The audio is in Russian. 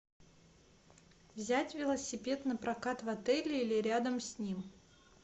взять велосипед на прокат в отеле или рядом с ним